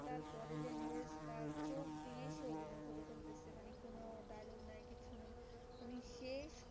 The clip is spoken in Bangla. সে